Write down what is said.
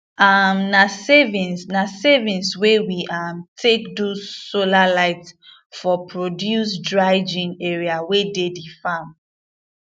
um na savings na savings we um take do solar light for produce dryign area wey de di farm